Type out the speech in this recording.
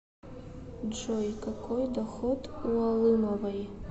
джой какой доход у алымовой